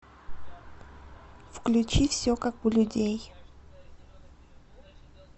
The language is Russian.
включи все как у людей